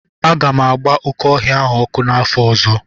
Aga m agba oke ọhịa a ọkụ n'afor ozo